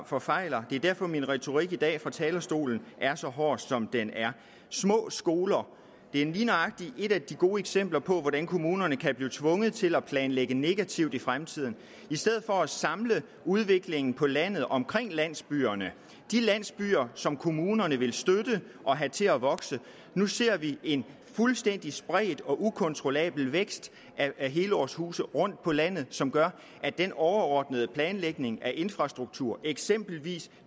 forfejler og det er derfor min retorik i dag fra talerstolen er så hård som den er små skoler er lige nøjagtig et af de gode eksempler på hvordan kommunerne kan blive tvunget til at planlægge negativt i fremtiden i stedet for at samle udviklingen på landet omkring landsbyerne de landsbyer som kommunerne vil støtte og have til at vokse nu ser vi en fuldstændig spredt og ukontrollabel vækst af helårshuse på landet som gør at den overordnede planlægning af infrastruktur eksempelvis